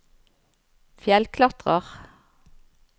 fjellklatrer